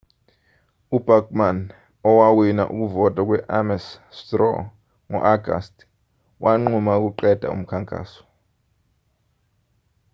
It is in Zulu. ubachmann owawina ukuvota kwe-ames straw ngo-agasti wanquma ukuqeda umkhankaso